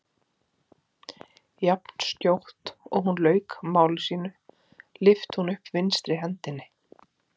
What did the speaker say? Jafnskjótt og hún lauk máli sínu lyfti hún upp vinstri hendinni.